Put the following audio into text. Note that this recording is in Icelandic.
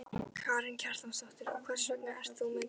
Karen Kjartansdóttir: Og hvers vegna ert þú með grímu?